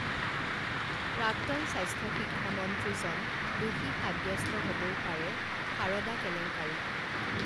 প্ৰাক্তন স্বাস্থ্য শিক্ষামন্ত্ৰীজন দোষী সাব্যস্ত হবও পাৰে সাৰদা কেলেংকাৰীত